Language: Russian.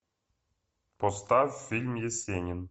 поставь фильм есенин